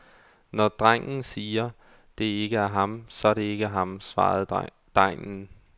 Når drengen siger, det ikke er ham, så er det ikke ham, svarede degnen.